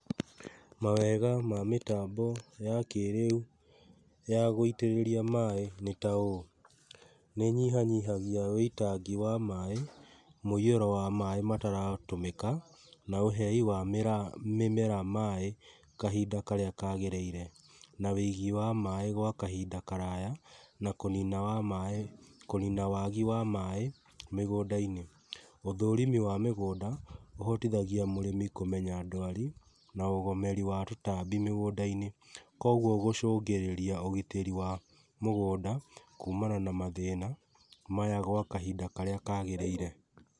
Mawega ma mĩtambo ya kĩĩrĩu ya gũĩtĩrĩria maĩ nĩ taũũ, nĩ ĩnyihanyihagia ũitangi wa maaĩ, mũihũro wa maaĩ ũtaratũmĩka, na ũhei wa maaĩ kahinda karĩa kagĩrĩire gwa kahinda karaya, kũnina wagi wa maaĩ mũgũnda-inĩ. Ũthũrimi wa mĩgũnda, ũhotithagia mũrĩmĩ kũmenya ndwari na ũgũmĩri wa tũtambi mĩgũnda-inĩ. Koguo gũcũngĩrĩria ũgitĩri wa tũtambĩ mĩgũnda-inĩ, kuumana mathĩna kahinda karĩa kagĩrĩire.